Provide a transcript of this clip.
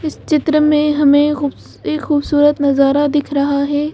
इस चित्र में हमें एक खूबसूरत नजारा दिख रहा है।